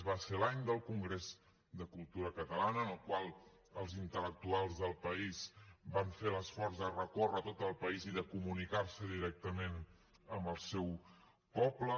va ser l’any del congrés de cultura catalana en el qual els intel·lectuals del país van fer l’esforç de recórrer tot el país i de comunicar se directament amb el seu poble